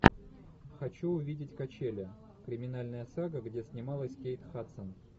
хочу увидеть качели криминальная сага где снималась кейт хадсон